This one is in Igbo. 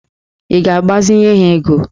Ị ga-agbazinye ha ego?